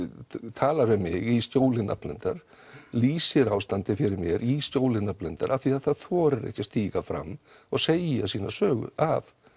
talar við mig í skjóli nafnleyndar lýsir ástandi fyrir mér í skjóli nafnleyndar af því að það þorir ekki að stíga fram og segja sína sögu af